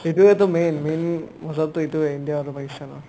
সেটোয়েটো main main মজাটো এইটোয়ে India আৰু পাকিস্তানৰ